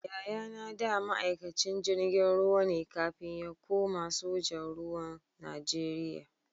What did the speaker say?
Yayana da ma'aikacin jirgin ruwa ne kafin ya kuma sojan ruwa Najeriya.